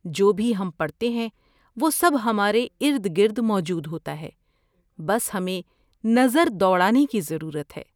جو بھی ہم پڑھتے ہیں وہ سب ہمارے ارد گرد موجود ہوتا ہے۔ بس ہمیں نظر دوڑانے کی ضرورت ہے۔